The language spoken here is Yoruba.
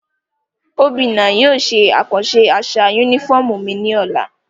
Obinna yóò ṣe akanṣe aṣa unifọmú mi ni ọla.